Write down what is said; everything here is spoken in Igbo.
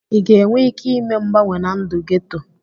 Ị ga-enwe ike ime mgbanwe na ndụ geto?